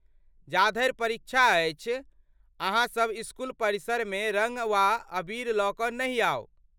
जाधरि परीक्षा अछि, अहाँसब इस्कूल परिसरमे रङ्ग वा अबीर लऽ कऽ नहि आउ।